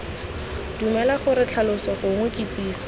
dumela gore tlhaloso gongwe kitsiso